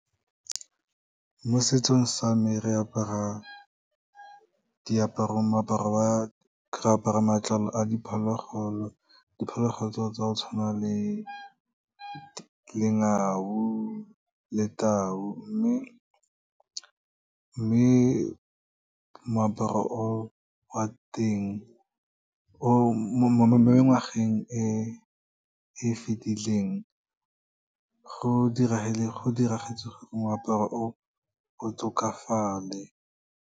Mo setsong sa me, re apara matlalo a diphologolo, diphologolo tsa go tshwana le lengau le tao. Mme moaparo o wa teng, mo ngwageng e fetileng, go diragetse gore moaparo o o tlhokafale.